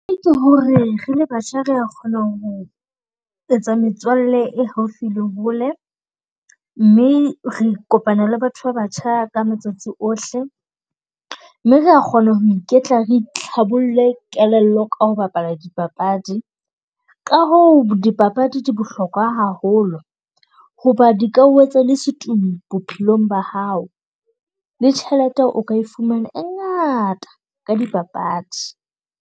Ho re re le batjha re a kgona ho etsa metswalle e haufi le hole, mme re kopana le batho ba batjha ka matsatsi ohle. Mme re a kgona ho iketla, re itlhabolle kelello ka ho bapala dipapadi. Ka hoo dipapadi di bohlokwa haholo ho ba di ka o etsa le setumi bophelong ba hao. Le tjhelete o ka e fumana e ngata ka di papadi.